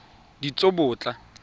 ditsobotla